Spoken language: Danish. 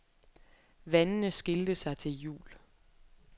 Vandene skilte sig til jul.